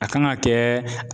A kan ka kɛ.